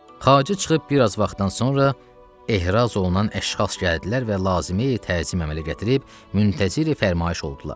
Xacə çıxıb bir az vaxtdan sonra ehraz olunan əşxas gəldilər və lazımi təzim əmələ gətirib müntəzir fərmayış oldular.